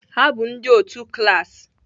Ha bụ ndị otu klas